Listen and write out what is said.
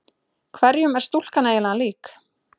Hverjum er stúlkan eiginlega lík?